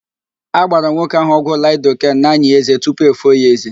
A gbara nwoke ahụ ọgwụ laịdoken n'ányị̀ ézé tupu efoo ya ézé.